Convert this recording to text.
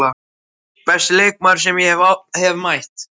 Besti leikmaður sem ég hef mætt?